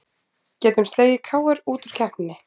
Getum slegið KR út úr keppninni